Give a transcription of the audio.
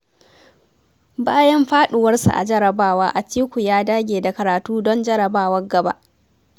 Bayan faɗuwarsa a jarrabawa Atiku ya dage da karatu don jarrabawar gaba